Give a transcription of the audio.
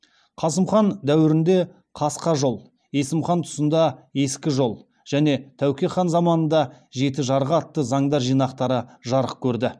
қасым хан дәуірінде қасқа жол есім хан тұсында ескі жол және тәуке хан заманында жеті жарғы атты заңдар жинақтары жарық көрді